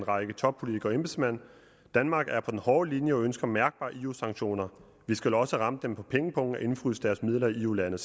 række toppolitikere og embedsmænd danmark er på den hårde linje og ønsker mærkbare eu sanktioner vi skal også ramme dem på pengepungen og indefryse deres midler i eu lande